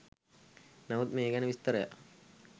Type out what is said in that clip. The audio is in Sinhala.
නමුත් මේ ගැන විස්තරයක්